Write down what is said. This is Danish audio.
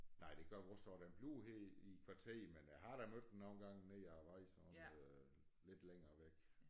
Nej det gør vores også den bliver her i i kvarteret men jeg har da mødt den nogle gange nede af æ vej sådan lidt længere væk